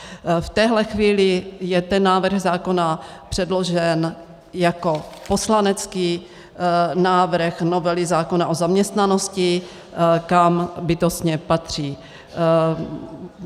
V téhle chvíli je ten návrh zákona předložen jako poslanecký návrh novely zákona o zaměstnanosti, kam bytostně patří.